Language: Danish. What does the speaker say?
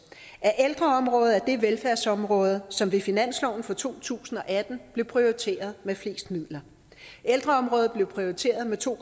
at ældreområdet er det velfærdsområde som ved finansloven for to tusind og atten blev prioriteret flest midler ældreområdet blev prioriteret med to